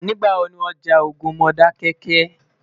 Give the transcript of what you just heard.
nígbà wò ní wón já ogún Modákéké?